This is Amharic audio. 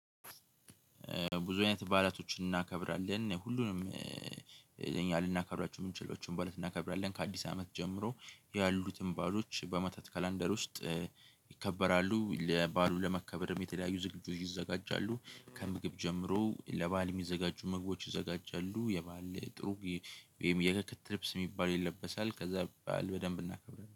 ብዙ አይነት በዓላቶችን እናከብራለን። ሁሉንም እኛ ልናከብራችሁ የምንችላቸውን በዓላት እናከብራለን። ከአዲስ አመት ጀምሮ ያሉትን በዓሎች በአመታት ካላንደር ውስጥ ይከበራሉ። ለበአሉ ለመከበርም የተለያዩ ዝግጁ ይዘጋጃሉ። ከምግብ ጀምሮ ለበአል የሚዘጋጁ ምግቦች ይዘጋጃሉ። የበአል ጥሩ ወይም የክት ልብስ የሚባል ይለበሳል። ከዛ በዓል በደንብ እናከብራለን።